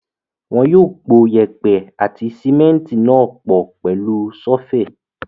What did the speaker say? Wọn yóò po yèèpẹ̀ àti símẹ́ńtì náà pọ̀ pẹ̀lú ṣọ́fẹ̀.